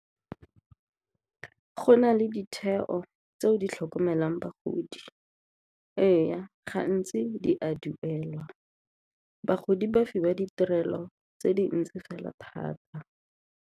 Go na le ditheo tse di tlhokomelang bagodi. Ee, gantsi di a duelwa, bagodi ba fiwa ditirelo tse dintsi fela thata.